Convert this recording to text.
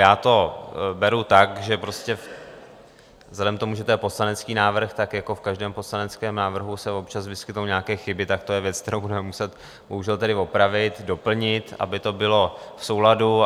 Já to beru tak, že prostě vzhledem k tomu, že to je poslanecký návrh, tak jako v každém poslaneckém návrhu se občas vyskytnou nějaké chyby, tak to je věc, kterou budeme muset bohužel tedy opravit, doplnit, aby to bylo v souladu.